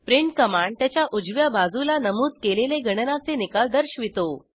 print command त्याच्या उजव्या बाजूला नमूद केलेले गणनाचे निकाल दर्शवितो